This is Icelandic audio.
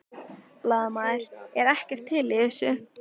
Blaðamaður: Er ekkert til í þessu?